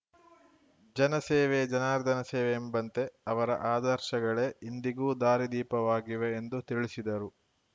ಜನ ಸೇವೆಯೇ ಜನಾರ್ದನ ಸೇವೆ ಎಂಬಂತೆ ಅವರ ಆದರ್ಶಗಳೇ ಇಂದಿಗೂ ದಾರಿ ದೀಪವಾಗಿವೆ ಎಂದು ತಿಳಿಸಿದರು